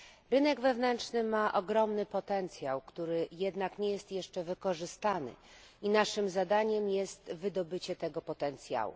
Rynek wewnętrzny ma ogromny potencjał, który jednak nie jest jeszcze wykorzystany, i naszym zadaniem jest wydobycie tego potencjału.